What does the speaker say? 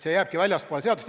See jääbki väljapoole seadust.